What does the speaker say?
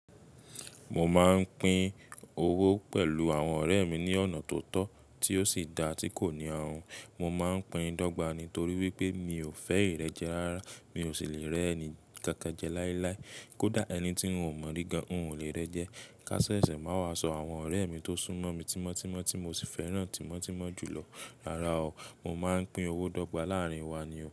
Mo ma ń pín owó pẹ̀lú àwọn ọrẹ mi ní ọ̀nà tó tọ, tí ó sì dáa tí kò ní ahun. Mo máa ń pín dọ́gba nítorí wípé mi ò fẹ́ ìrẹ́jẹ rárá, mi ò sì lè rẹ́ ẹni kankan jẹ láíláí. Kódà ẹni tí ń ò mọ̀ rí gan-an, n ò lè rẹ́ jẹ. Ká sẹsẹ máa wà sọ àwọn ọ̀rẹ́ mi tó súnmọ́ mi tímọ́tímọ́ tí mo sì fẹ́ràn tímọ́tímọ́ jùlọ. Rárá o, mo máa ń pín owó dọ́gba láàrín wa ni o.